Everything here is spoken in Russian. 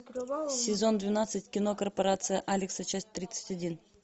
сезон двенадцать кино корпорация алекса часть тридцать один